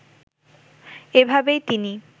এভাবেই তিনি